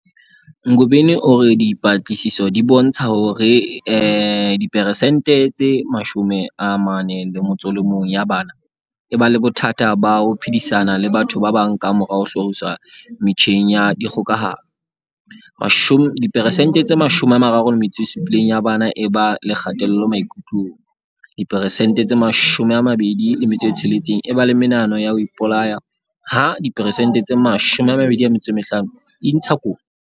Ngobeni o re dipatlisiso di bontsha hore diperesente tse 41 ya bana e ba le bothata ba ho phedisana le batho ba bang kamora ho hloriswa metjheng ya dikgokahano, diperesente tse 37 ya bana e ba le kgatello maikutlong, diperesente tse 26 e ba le menahano ya ho ipolaya ha diperesente tse 25 e intsha dikotsi.